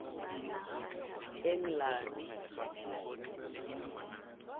englane